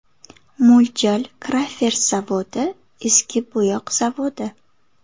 Mo‘ljal: Crafers zavodi, eski bo‘yoq zavodi.